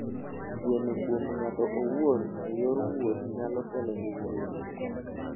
Geno kuom ng'ato owuon e yor wuoth nyalo kelo hinyruok.